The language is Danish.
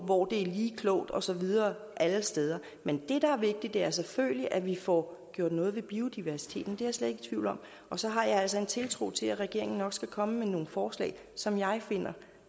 hvor det er lige klogt og så videre alle steder men det der er vigtigt er selvfølgelig at vi får gjort noget ved biodiversiteten det er jeg slet ikke i tvivl om og så har jeg altså en tiltro til at regeringen nok skal komme med nogle forslag som jeg finder